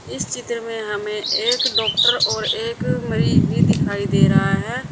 इस चित्र में हमें एक डॉक्टर और एक मरीज भी दिखाई दे रहा है।